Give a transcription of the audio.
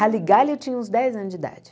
Rally Galley eu tinha uns dez anos de idade.